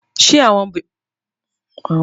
Ṣé àwọn ọmọbìnrin náà ń gbádùn àkókò pẹ̀lú àwọn olùwẹ̀ náà?